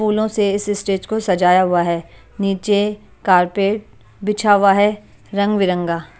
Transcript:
फूलों से इस स्टेज को सजाया हुआ है नीचे कारपेट बिछा हुआ है रंग बिरंगा--